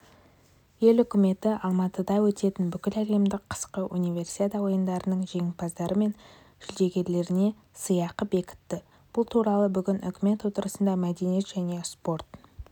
ел үкіметі алматыда өтетін бүкіләлемдік қысқы универсиада ойындарының жеңімпаздары мен жүлдегерлеріне сыйақы бекітті бұл туралы бүгін үкімет отырысында мәдениет және спорт